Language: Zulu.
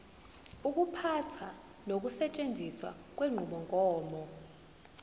ukuphatha nokusetshenziswa kwenqubomgomo